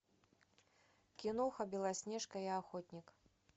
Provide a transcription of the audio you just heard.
киноха белоснежка и охотник